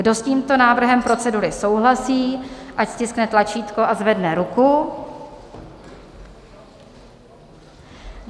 Kdo s tímto návrhem procedury souhlasí, ať stiskne tlačítko a zvedne ruku.